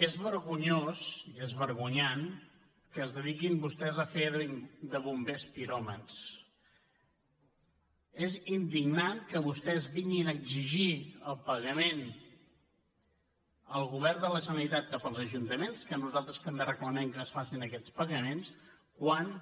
és vergonyós i és vergonyant que es dediquin vostès a fer de bombers piròmans és indignant que vostès vinguin a exigir el pagament al govern de la generalitat cap als ajuntaments que nosaltres també reclamem que es facin aquests pagaments quan